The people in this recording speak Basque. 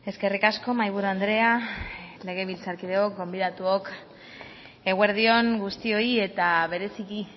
eskerrik asko mahaiburu andrea legebiltzarkideok gonbidatuok eguerdi on guztioi eta bereziki